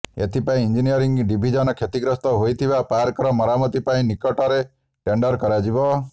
ଏଥିପାଇଁ engineering division କ୍ଷତିଗ୍ରସ୍ତ ହୋଇଥିବା ପାର୍କର ମରାମତି ପାଇଁ ନିକଟରେ ଟେଣ୍ଡର୍ କରାଯିବ